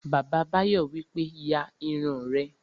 Bàbá Báyọ̀ wípé, "ya irun rẹ!"